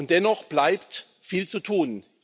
Dennoch bleibt viel zu tun.